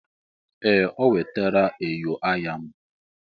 Ee! O wetara enyo anya m.